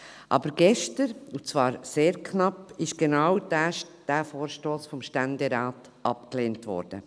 Aber gestern wurde genau dieser Vorstoss vom Ständerat abgelehnt, und zwar sehr knapp.